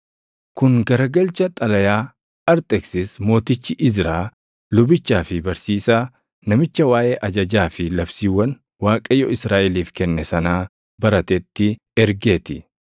Kun garagalcha xalayaa Arxeksis Mootichi Izraa lubichaa fi barsiisaa, namicha waaʼee ajajaa fi labsiiwwan Waaqayyo Israaʼeliif kenne sanaa baratetti ergee ti: